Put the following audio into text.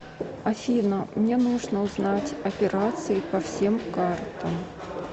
афина мне нужно узнать операции по всем картам